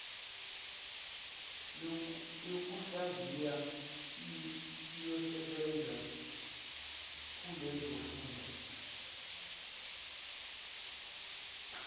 yokuhlaziya iyosebenza kulezofunda